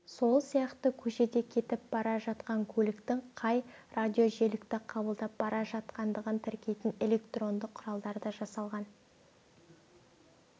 сол сияқты көшеде кетіп бара жатқан көліктің қай радиожиілікті қабылдап бара жатқандығын тіркейтін электронды құралдар да жасалған